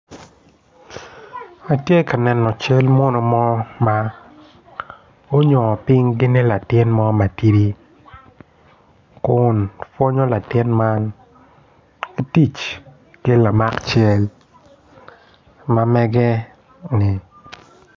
Atye ka neno cal muno mo ma gunyongo ping gini latin mo matidi kun pwonyo latin man ki tic ki lamak cal ma mege-ni